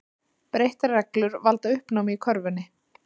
Breyttar reglur valda uppnámi í körfunni